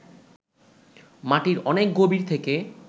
মাটির অনেক গভীর থেকে